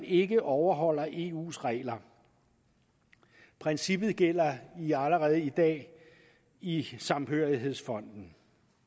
ikke overholder eus regler princippet gælder allerede i dag i samhørighedsfonden